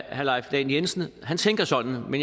han tænker sådan